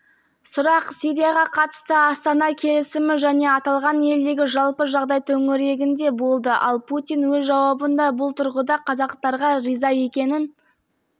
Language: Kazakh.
сұрақ сирияға қатысты астана келісімі және аталған елдегі жалпы жағдай төңірегінде болды ал путин өз жауабында бұл тұрғыда қазақтарға риза екенін